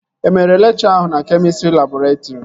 E mere lekchọ ahụ na kemịstrị labọretrị?